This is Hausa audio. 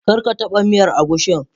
Kar ka taba miyar agushin.